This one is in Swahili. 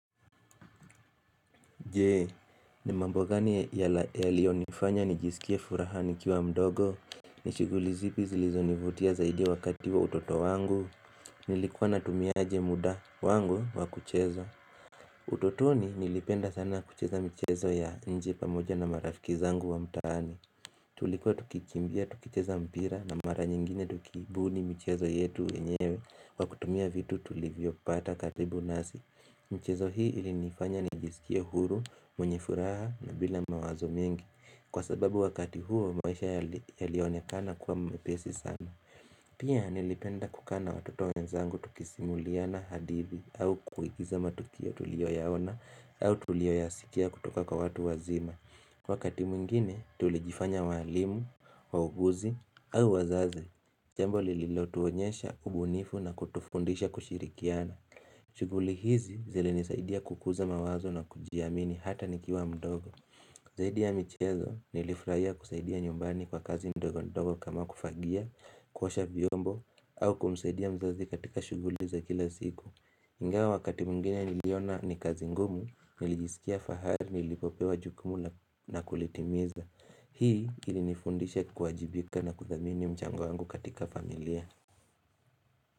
Je, ni mambo gani yaliyo nifanya nijisikie furaha nikiwa mdogo ni shuguli zipi zilizo nivutia zaidi wakati wa utoto wangu Nilikuwa natumia aje muda wangu wa kucheza utotoni nilipenda sana kucheza mchezo ya nje pamoja na marafiki zangu wa mtaani Tulikuwa tukikimbia, tukicheza mpira na mara nyingine tukibuni michezo yetu yenyewe kwa kutumia vitu tulivyo pata karibu nasi Mchezo hii ilinifanya nijisikie huru, mwenye furaha na bila mawazo mingi Kwa sababu wakati huo maisha yalionekana kuwa mepesi sana Pia nilipenda kukaa na watoto wenzangu tukisimuliana hadithi au kuigiza matukio tuliyoyaona au tuliyoyasikia kutoka kwa watu wazima Kwa kati mwingine tulijifanya waalimu, wauguzi au wazazi Jambo lililotuonyesha ubunifu na kutufundisha kushirikiana shuguli hizi zilinisaidia kukuza mawazo na kujiamini hata nikiwa mdogo zaidi ya michezo nilifurahia kusaidia nyumbani kwa kazi ndogo ndogo kama kufagia, kuosha viombo au kumsaidia mzazi katika shuguli za kila siku ingawa wakati mwingine niliona ni kazi ngumu nilijisikia fahari nilipopewa jukumu na kulitimiza Hii ilinifundisha kuwajibika na kuthamini mchango wangu katika familia.